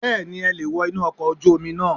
Bẹ́ẹ̀ni e leè wo inú okò ojú Omi náà